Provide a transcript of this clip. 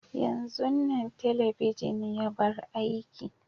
yanzun Nan telebijin ya bar aiki.